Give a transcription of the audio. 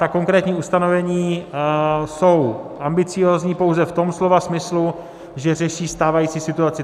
Ta konkrétní ustanovení jsou ambiciózní pouze v tom slova smyslu, že řeší stávající situaci.